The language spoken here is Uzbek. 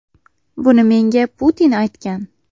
Buni menga Putin aytgan.